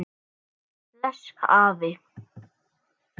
blés afi.